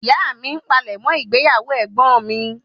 Ìyá mí n palẹ̀mọ́ ìgbéyàwó egbon mi